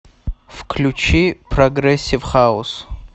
включи прогрессив хаус